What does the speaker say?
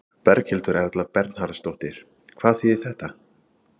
Berghildur Erla Bernharðsdóttir: Hvað þýðir þetta?